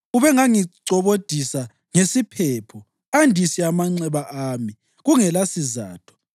Ubengangicobodisa ngesiphepho andise amanxeba ami kungelasizatho.